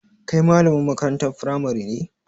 Kai malamin makarantar firamari ne?